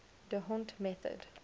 d hondt method